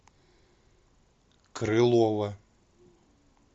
крылова